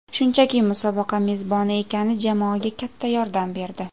Shunchaki musobaqa mezboni ekani jamoaga katta yordam berdi.